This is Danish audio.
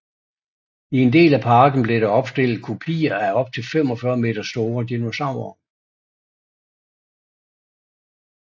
I en del af parken blev der opstillet kopier af op til 45 meter store dinosaurere